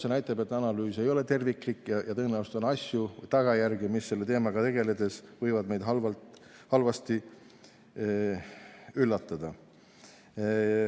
See näitab, et analüüs ei ole terviklik ja tõenäoliselt on asju, tagajärgi, mis selle teemaga tegeledes võivad meid halvasti üllatada.